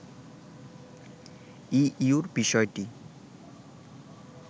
ইইউর বিষয়টি